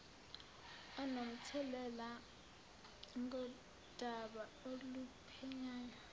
onomthelela ngodaba oluphenywayo